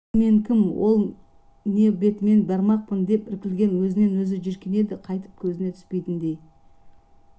енді мен кім ол не бетіммен бармақпын деп іркілген өзінен өзі жиіркенеді қайтып көзіне түспейтіндей